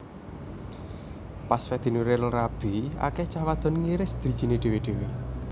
Pas Fedi Nuril rabi akeh cah wadon ngiris drijine dewe dewe